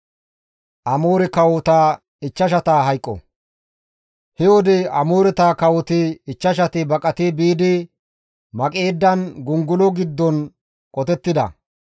He wode Amooreta kawoti ichchashati baqati biidi Maqeedan gongolo giddon qotettida.